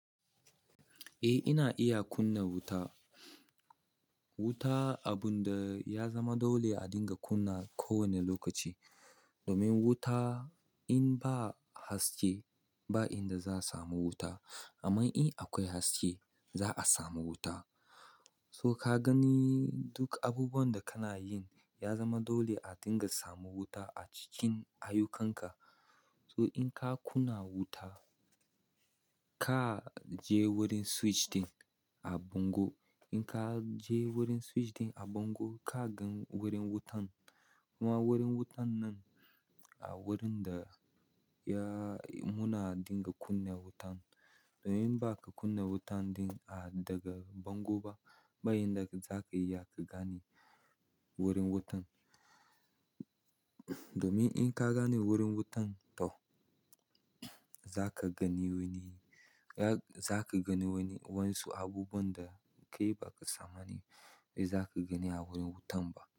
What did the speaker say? Eh, ina iya kunna wuta. Wuta abun da ya zama dole a dinga kunna kowane lokaci. Domin wuta in ba haske ba, inda za a samu wuta. Amma in akwai haske, za a samu wuta. To kagani duk abubuwan da kakeyi yazama dole adinga samu wuta acikin ayyukan ka to in ka kunna wuta, ka je wurin switch ɗin a bango. In ka je wurin switch ɗin a bango, ka gan wurin wutan. Kuma wurin wutan nan a wurin da ya muna dinga kunna wutan. Domin ba ka kunna wutan ɗin a daga bango ba, ba inda za ka iya ka gane wurin wutan. Domin in ka gane wurin wutan to za ka gani wani, za ka gani wani wansu abubuwan da kai ba ka tsammani za ka gani a wurin wutan ba.